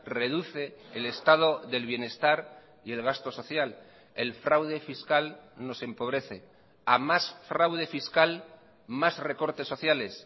reduce el estado del bienestar y el gasto social el fraude fiscal nos empobrece a más fraude fiscal más recortes sociales